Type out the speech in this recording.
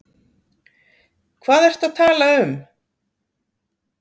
Hvað ertu að tala um?